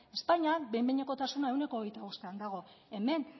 espainian behin behinekotasuna ehuneko hogeita bostean dago hemen